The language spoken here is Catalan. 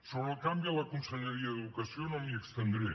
sobre el canvi a la conselleria d’educació no m’hi estendré